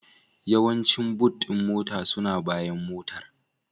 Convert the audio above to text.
Yawancin Boot ɗin mota suna bayan Motar